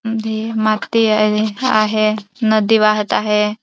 आहे नदी वाहत आहे.